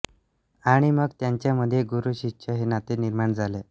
आणि मग त्यांच्यामध्ये गुरु शिष्य हे नाते निर्माण झाले